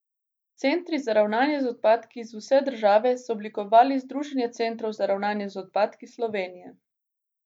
Centri za ravnanje z odpadki z vse države so oblikovali Združenje centrov za ravnanje z odpadki Slovenije.